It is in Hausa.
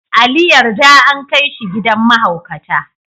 Ali yarda an kai shi gidan mahaukata.